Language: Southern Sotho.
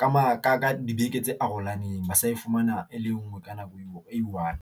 ka ka dibeke tse arohaneng. Ba sa e fumana e le nngwe ka nako eo one.